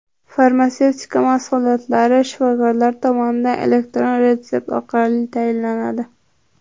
Farmatsevtika mahsulotlari shifokorlar tomonidan elektron retsept orqali tayinlanadi.